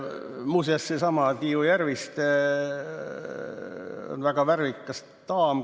Muuseas, seesama Tiiu Järviste on väga värvikas daam.